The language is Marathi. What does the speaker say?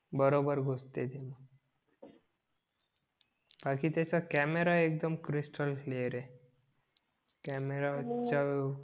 बरोबर गुसतय ते बाकी त्याचा कॅमेरा एक्दम कॅरिसातलं क्लिअर आहे कॅमेराच्या